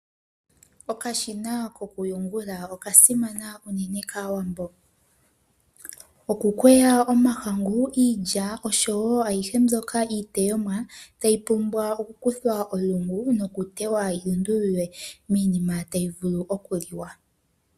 Okashina kokuyungula okasimana uunene kaawambo. Okukweya omahangu, iilya oshowo ayihe mbyoka iiteyomwa tayi pumbwa oku kuthwa olungu nokuteywa yilundululwe miinima tayi vulu okuliwa.